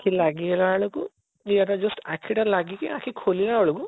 ଲାଗି ଗଲା ବେଳକୁ ଇଏ ଏଇଟା just ଆଖିଟା ଲାଗିକି ଆଖି ଖୋଲିଲା ବେଳକୁ